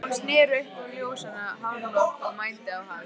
Hún sneri upp á ljósan hárlokk og mændi á hann.